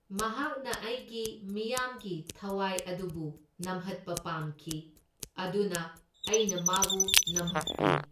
ꯃꯍꯥꯛꯅ ꯑꯩꯒꯤ ꯃꯤꯌꯥꯝꯒꯤ ꯊꯋꯥꯏ ꯑꯗꯨꯕꯨ ꯅꯝꯍꯠꯄ ꯄꯥꯝꯈꯤ, ꯑꯗꯨꯅ ꯑꯩꯅ ꯃꯥꯕꯨ ꯅꯝꯍꯠꯄꯅꯤ꯫